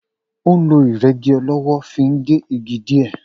O n ló ìrégi ọlówó fi n gé igi dìé